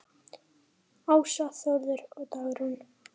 Ása, Þórður og Dagrún.